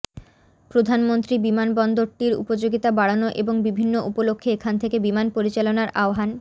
প্রধানমন্ত্রী বিমানবন্দরটির উপযোগিতা বাড়ানো এবং বিভিন্ন উপলক্ষ্যে এখান থেকে বিমান পরিচালনার আহ্বান